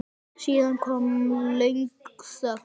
Síðan kom löng þögn.